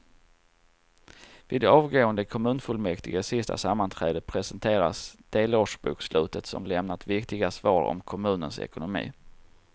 Vid avgående kommunfullmäktiges sista sammanträde presenteras delårsbokslutet som lämnar viktiga svar om kommunens ekonomi.